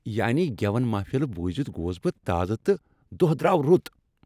یانی گیون محفل بوزتھ گوس بہٕ تازٕہ تہٕ دۄہ درٛاو رُت۔